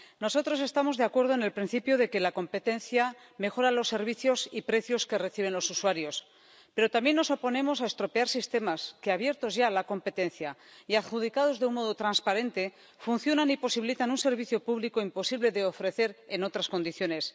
Nosotros estamos de acuerdo en el principio de que la competencia mejora los servicios y precios que reciben los usuarios, pero también nos oponemos a estropear sistemas, que abiertos ya a la competencia y adjudicados de un modo transparente, funcionan y posibilitan un servicio público imposible de ofrecer en otras condiciones.